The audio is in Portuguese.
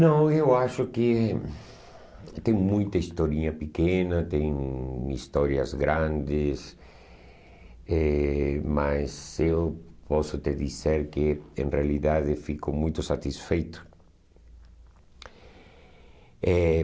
Não, eu acho que que tem muita historinha pequena, tem histórias grandes, eh mas eu posso te dizer que, em realidade, fico muito satisfeito. Eh